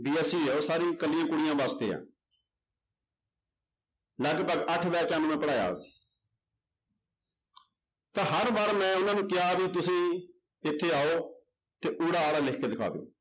BSC ਹੈ ਉਹ ਸਾਰੀ ਇਕੱਲੀਆਂ ਕੁੜੀਆਂ ਵਾਸਤੇ ਹੈ ਲਗਪਗ ਅੱਠ ਬੈਚਾਂ ਨੂੰ ਮੈਂ ਪੜ੍ਹਾਇਆ ਤਾਂ ਹਰ ਵਾਰ ਮੈਂ ਉਹਨਾਂ ਨੂੰ ਕਿਹਾ ਵੀ ਤੁਸੀਂ ਇੱਥੇ ਆਓ ਤੇ ਊੜਾ ਆੜਾ ਲਿਖ ਕੇ ਦਿਖਾ ਦਓ